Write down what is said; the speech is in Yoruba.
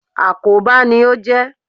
Àkóbá ni ó jẹ́.